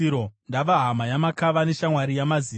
Ndava hama yamakava, neshamwari yamazizi.